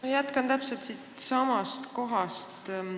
Ma jätkan täpselt siitsamast kohast.